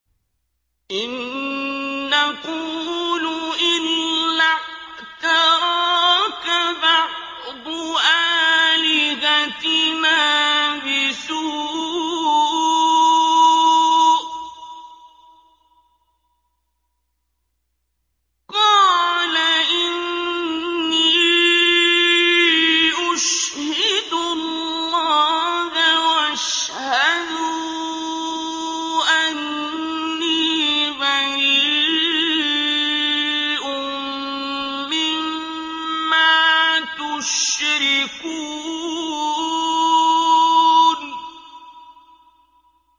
إِن نَّقُولُ إِلَّا اعْتَرَاكَ بَعْضُ آلِهَتِنَا بِسُوءٍ ۗ قَالَ إِنِّي أُشْهِدُ اللَّهَ وَاشْهَدُوا أَنِّي بَرِيءٌ مِّمَّا تُشْرِكُونَ